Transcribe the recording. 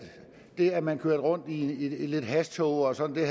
det at man kørte rundt i lidt hashtåger og sådan